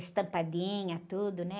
Estampadinha, tudo, né?